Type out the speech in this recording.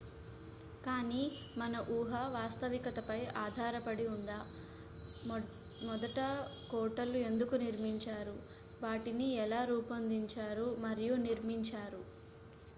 కానీ మన ఊహ వాస్తవికతపై ఆధారపడి ఉందా మొదట కోటలు ఎందుకు నిర్మించారు వాటిని ఎలా రూపొందించారు మరియు నిర్మించారు